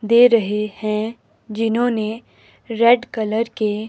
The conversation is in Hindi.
दे रहे हैं जिन्होंने रेड कलर के--